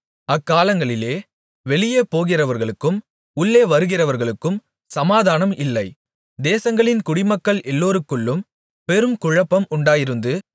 அக்காலங்களிலே வெளியே போகிறவர்களுக்கும் உள்ளே வருகிறவர்களுக்கும் சமாதானம் இல்லை தேசங்களின் குடிமக்கள் எல்லோருக்குள்ளும் பெரும் குழப்பம் உண்டாயிருந்து